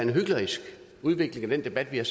hyklerisk udvikling i den debat vi har